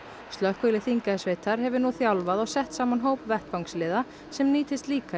slökkvilið Þingeyjarsveitar hefur nú þjálfað og sett saman hóp vettvangsliða sem nýtist líka í